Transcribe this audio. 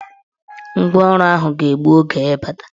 Ngwaọrụ ahụ ga-egbu oge ịbata.